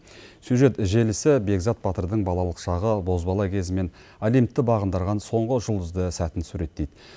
сюжет желісі бекзат батырдың балалық шағы бозбала кезі мен олимпты бағындырған соңғы жұлдызды сәтін суреттейді